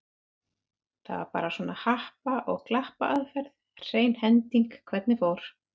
Það var bara svona happa- og glappaaðferð, hrein hending hvernig fór.